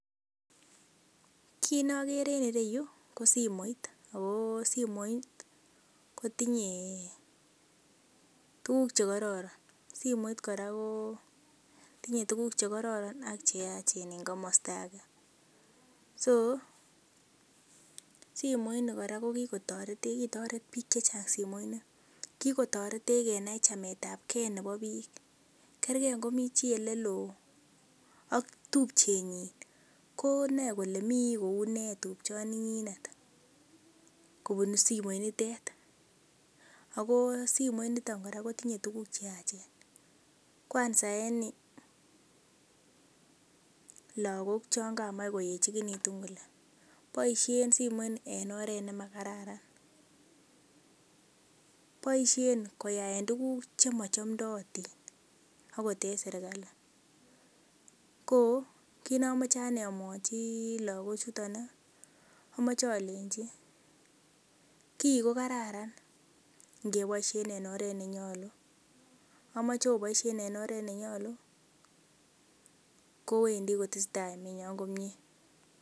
Kit nokere en ireyu ko simoit ako simoit kotinye tuguk chekororon simoit kora ko tinye tuguk chekororon ak cheyachen en komosta age so simoit ni kora kokikotoretech kitoret biik chechang simoit ni. Kokikotoretech kenai chametabgee nebo biik kergee ngo mii chii eleloo ak tupchenyin ko noe kole mii kounee tupchoni nyinet kobun simoit nitet ako simoit niton kora kotinye tuguk cheyachen kwanza en lagok chon kamach koeechekitu kole, boisien simoit ni en oret nemakararan. Boisien koyaen tuguk chemochomdotin akot en serkali. Ko kit nomoche amwochi lagok chuton ih amoche olenji kii kokararan ngeboisien en oret nenyolu, amoche oboisien en oret nenyolu kowendii kotesetai emenyon komie